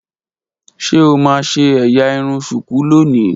Ṣe o n ṣe ẹ́yà irun shuku loni?